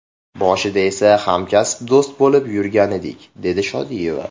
Boshida esa hamkasb, do‘st bo‘lib yurgandik”, dedi Shodiyeva.